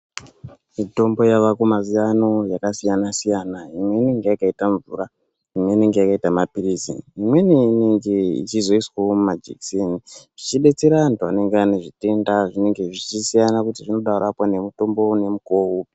Mitombo yavako mazuva ano yakasiyana-siyana. Imwe inenge yakaita mvura, imwe inenge yakaita maphirizi, imweni inenge ichizoiswavo mumajekiseni. Zvichibetsera antu anenge ane zvitenda zvinenge zvichisiyana kuti zvinoda kurapwa nemutombo nemukuvo upi.